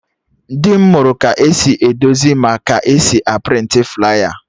Dị m mụrụ ka esi edozi ma ka esi a prịntị flaya